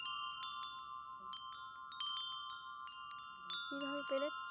কী ভাবে পেলে?